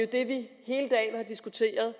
det vi har diskuteret